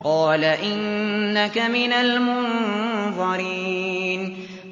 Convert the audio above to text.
قَالَ إِنَّكَ مِنَ الْمُنظَرِينَ